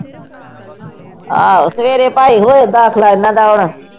ਆਹੋ ਸਵੇਰੇ ਭਾਈ ਉਹ ਦਾਖਲਾ ਇਹਨਾਂ ਦਾ ਹੋਣਾ।